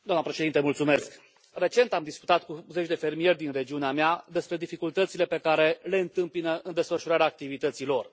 Doamnă președintă, recent am discutat cu zeci de fermieri din regiunea mea despre dificultățile pe care le întâmpină în desfășurarea activității lor.